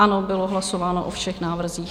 Ano, bylo hlasováno o všech návrzích.